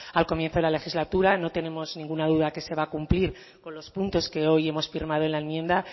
al comienzo de la legislatura no tenemos ninguna duda que se va a cumplir con los puntos que hoy hemos firmado en la enmienda